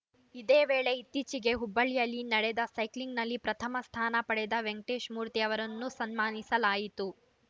ಇದೇ ವೇಳೆ ಇತ್ತೀಚೆಗೆ ಹುಬ್ಬಳಿಯಲ್ಲಿ ನಡೆದ ಸೈಕ್ಲಿಂಗ್‌ನಲ್ಲಿ ಪ್ರಥಮ ಸ್ಥಾನ ಪಡೆದ ವೆಂಕಟೇಶ್‌ಮೂರ್ತಿ ಅವರನ್ನು ಸನ್ಮಾನಿಸಲಾಯಿತು